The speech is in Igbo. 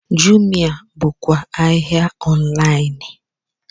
Jumia bụkwa ahịa ọnlaịn